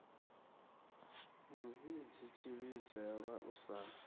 mu vhidzi tshivhidzelwa u sa